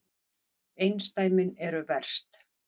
Einsdæmin eru verst.